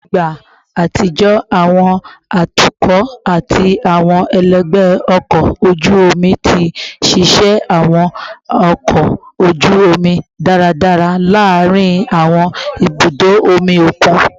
Ni igba atijọ, awọn atukọ ati awọn ẹlẹgbẹ ọkọ oju omi ti nṣiṣẹ awọn ọkọ oju omi daradara laarin awọn ibudo omi okun